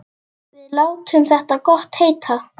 Við látum þetta gott heita.